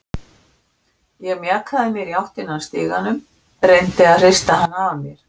Ég mjakaði mér í áttina að stiganum, reyndi að hrista hana af mér.